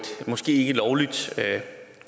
måske ikke lovligt